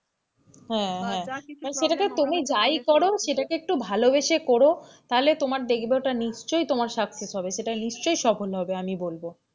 হেঁ, হেঁ সেটাকে তুমি যাই করো সেটাকে তুমি একটু ভালোবেসে করো তাহলে তোমার দেখবে ওটা নিশ্চই তোমার success হবে নিশ্চই সফল হবে আমি বলবো,